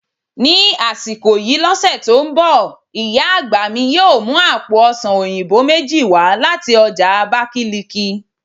Ni asiko yii lose to n bo, iya agba mi yoo mu àpò ọsàn oyinbo meji wa lati oja Abakiliki